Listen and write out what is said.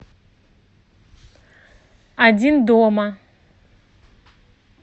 один дома